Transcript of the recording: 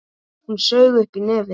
Hún saug upp í nefið.